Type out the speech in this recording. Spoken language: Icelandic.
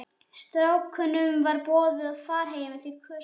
Strákunum var boðið far heim en þeir kusu að ganga.